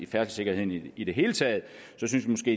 færdselssikkerheden i det hele taget så synes vi